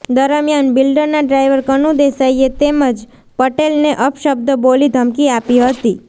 દરમિયાન બિલ્ડરના ડ્રાઈવર કનુ દેસાઈએ તેમજ પટેલને અપશબ્દો બોલી ધમકી આપી હતી